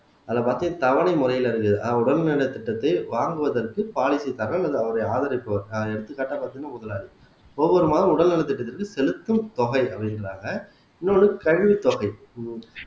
அதைப் பத்தி தவணை முறையில இருக்கு அதாவது உடல் நலத்திட்டத்தை வாங்குவதற்கு பாலிசிக்காக அல்லது அவருடைய ஆதரிப்பவர் எடுத்துக்காட்டா பாத்தீங்கன்னா ஒவ்வொரு மாதமும் உடல் நலத்திட்டத்திற்கு செலுத்தும் தொகை அப்படிங்கிறாங்க இன்னொன்னு கழிவுத் தொகை உம்